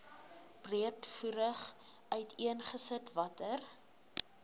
breedvoerig uiteengesit watter